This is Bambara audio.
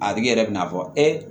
A tigi yɛrɛ bɛ na fɔ ee